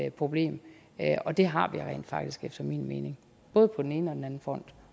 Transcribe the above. et problem og det har vi rent faktisk efter min mening både på den ene og den anden front